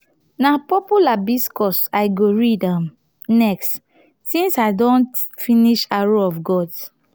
na purple hibiscus i go read um next since i don um finish arrow of gods.